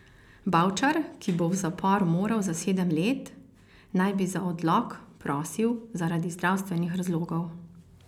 Bavčar, ki bo v zapor moral za sedem let, naj bi za odlog prosil zaradi zdravstvenih razlogov.